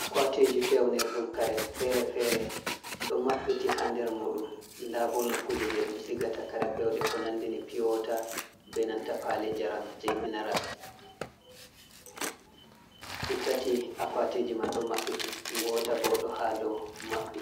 Akwatiji fewnir ɗum kare fere-fere ɗo mabɓiti ha der muɗum nda bo nokkuje je ɗum sigata kare pewde ko nandi ni piyowata be nanta pali njaram je minaras ɗi tati, akwatiji man ɗo maɓɓiti ngota bo do ha ɗo maɓɓi